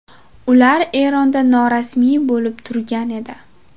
Ular Eronda norasmiy bo‘lib turgan edi.